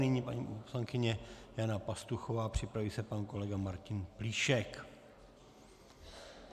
Nyní paní poslankyně Jana Pastuchová, připraví se pan kolega Martin Plíšek.